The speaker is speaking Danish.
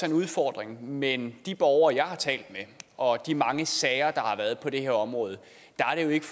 en udfordring men i forhold de borgere jeg har talt med og de mange sager der har været på det her område er det jo ikke